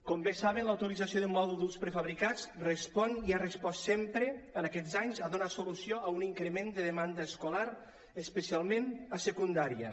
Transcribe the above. com bé saben la utilització de mòduls prefabricats respon i ha respost sempre en aquests anys a donar solució a un increment de demanda escolar especialment a secundària